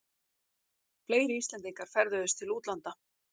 Fleiri Íslendingar ferðuðust til útlanda